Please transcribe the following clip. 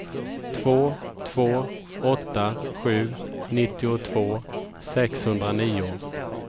två två åtta sju nittiotvå sexhundranio